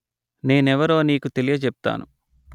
నేనెవరో నీకు తెలియజెప్తాను